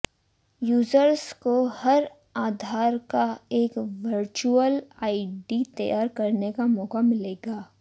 users को हर आधार का एक वर्चुअल आईडी तैयार करने का मौका मिलेगा